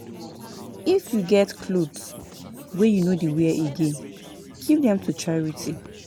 I go braid her hair free of charge, na giving be dat o.